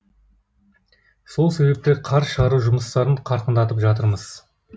сол себепті қар шығару жұмыстарын қарқындатып жатырмыз